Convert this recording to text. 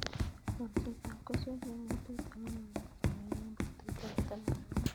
Kolset ab keswek che mi tuta ko magat kekol eng' petut ab taman ak mut